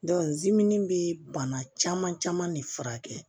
bɛ bana caman caman de furakɛ